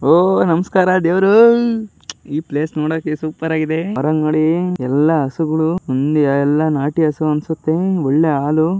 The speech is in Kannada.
ಹೋ ನಮಸ್ಕಾರ ದೇವ್ರು ಈ ಪ್ಲೇಸ್ ನೋಡಕ್ಕೆ ಸೂಪರ್ ಆಗಿದೆ. ಹೊರಗ್ ನೋಡಿ ಎಲ್ಲ ಹಸುಗುಳು ಒಂದೇ ಎಲ್ಲ ನಾಟಿ ಹಸು ಅನ್ಸುತ್ತೆ ಒಳ್ಳೆ ಹಾಲು.